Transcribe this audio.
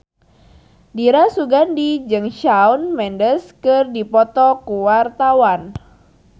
Dira Sugandi jeung Shawn Mendes keur dipoto ku wartawan